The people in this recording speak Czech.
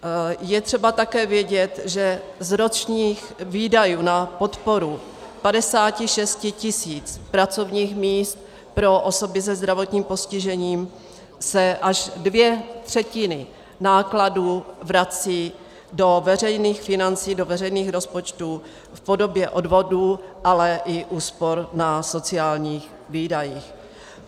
Je třeba také vědět, že z ročních výdajů na podporu 56 tisíc pracovních míst pro osoby se zdravotním postižením se až dvě třetiny nákladů vrací do veřejných financí, do veřejných rozpočtů, v podobě odvodů, ale i úspor na sociálních výdajích.